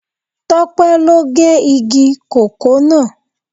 Tope lo ge igi kòkó náà